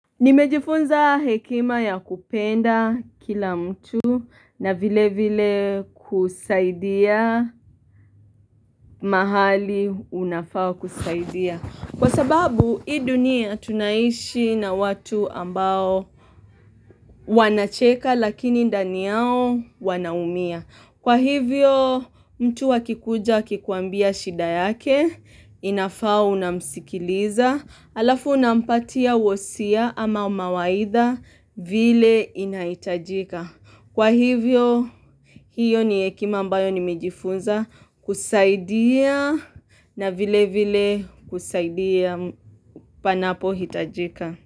Nimejifunza hekima ya kupenda kila mtu na vile vile kusaidia mahali unafaa kusaidia., Kwa sababu hii dunia tunaishi na watu ambao. Wanacheka lakini ndani yao wanaumia Kwa hivyo, mtu akikuja akikuambia shida yake, inafaa unamsikiliza Alafu unampatia wosia ama mawaidha vile inaitajika. Kwa hivyo hiyo ni hekima ambayo nimejifunza kusaidia na vile vile kusaidia panapo hitajika.